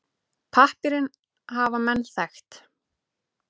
Pappírinn hafa menn þekkt.